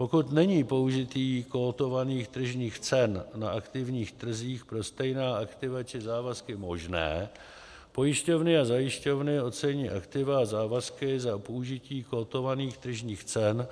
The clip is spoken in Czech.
Pokud není použití kotovaných tržních cen na aktivních trzích pro stejná aktiva či závazky možné, pojišťovny a zajišťovny ocení aktiva a závazky za použití kotovaných tržních cen